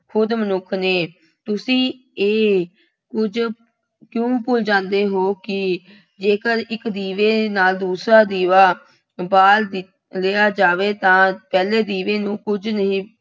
ਖੁਦ ਮਨੁੱਖ ਨੇ, ਤੁਸੀਂ ਇਹ ਕੁੱਝ ਕਿਉਂ ਭੁੱਲ ਜਾਂਦੇ ਹੋ ਕਿ ਜੇਕਰ ਇੱਕ ਦੀਵੇ ਨਾਲ ਦੂਸਰਾ ਦੀਵਾ ਬਾਲ ਦਿੱ ਲਿਆ ਜਾਵੇ ਤਾਂ ਪਹਿਲੇ ਦੀਵੇ ਨੂੰ ਕੁੱਝ ਨਹੀਂ